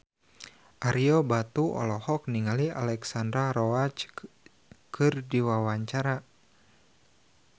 Ario Batu olohok ningali Alexandra Roach keur diwawancara